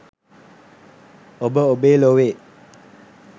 ඔබ ඔබේ ලොවේ